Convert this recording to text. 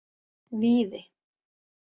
Víði